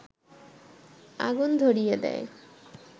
আগুন ধরিয়ে দেয়